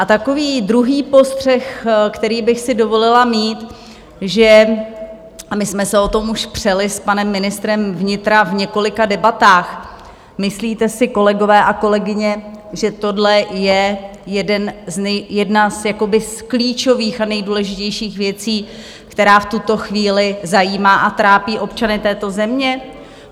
A takový druhý postřeh, který bych si dovolila mít, že - a my jsme se o tom už přeli s panem ministrem vnitra v několika debatách - myslíte si, kolegové a kolegyně, že tohle je jedna z klíčových a nejdůležitějších věcí, která v tuto chvíli zajímá a trápí občany této země?